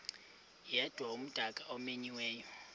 yedwa umdaka omenyiweyo